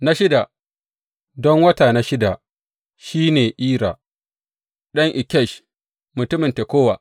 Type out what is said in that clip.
Na shida, don wata na shida, shi ne Ira ɗan Ikkesh mutumin Tekowa.